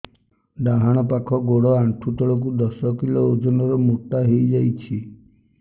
ଡାହାଣ ପାଖ ଗୋଡ଼ ଆଣ୍ଠୁ ତଳକୁ ଦଶ କିଲ ଓଜନ ର ମୋଟା ହେଇଯାଇଛି